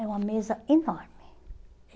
É uma mesa enorme.